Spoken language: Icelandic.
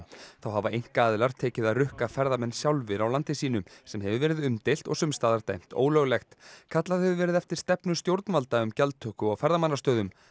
þá hafa einkaaðilar tekið að rukka ferðamenn sjálfir á landi sínu sem hefur verið umdeilt og sums staðar dæmt ólöglegt kallað hefur verið eftir stefnu stjórnvalda um gjaldtöku á ferðamannastöðum